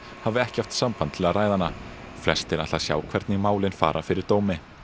hafi ekki haft samband til að ræða hana flestir ætla að sjá hvernig málin fara yfir dómi